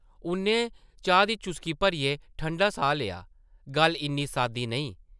उʼन्नै चाह् दी चुस्की भरियै ठंडा साह् लेआ, गल्ल इन्नी सादी नेईं ।